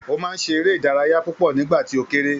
Ó máa ń ṣe eré ìdárayá púpọ̀ nígbà tì ó kéré